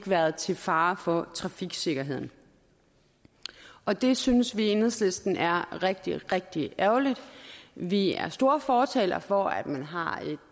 været til fare for trafiksikkerheden og det synes vi i enhedslisten er rigtig rigtig ærgerligt vi er store fortalere for at man har